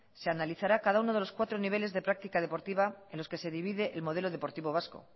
se analizará cada uno de los cuatro niveles de práctica deportiva en los que se divide el modelo deportivo vasco